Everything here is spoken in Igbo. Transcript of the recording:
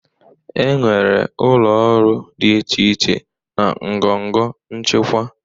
Enwere ụlọ ọrụ dị iche iche na ngọngọ nchịkwa.